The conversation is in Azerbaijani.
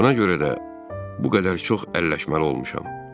Buna görə də bu qədər çox əlləşməli olmuşam.